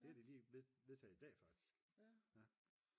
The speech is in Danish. det har de lige vedtaget i dag faktisk